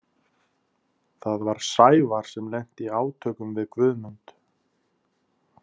Það var Sævar sem lenti í átökum við Guðmund.